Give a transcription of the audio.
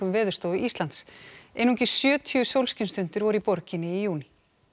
Veðurstofu Íslands einungis sjötíu sólskinsstundir voru í borginni í júní